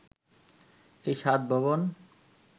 এই সাত ভবন